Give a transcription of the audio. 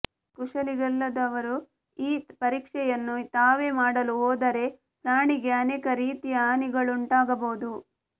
ಕುಶಲಿಗಳಲ್ಲದವರು ಈ ಪರೀಕ್ಷೆಯನ್ನು ತಾವೇ ಮಾಡಲು ಹೋದರೆ ಪ್ರಾಣಿಗೆ ಅನೇಕ ರೀತಿಯ ಹಾನಿಗಳುಂಟಾಗಬಹುದು